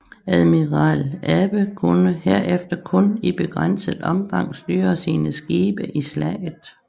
Admiral Abe kunne herefter kun i begrænset omfang styre sine skibe i slaget